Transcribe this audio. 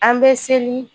An bɛ seli